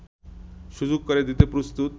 সুযোগ করে দিতে প্রস্তুত